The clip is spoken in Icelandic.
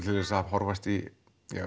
til að horfast í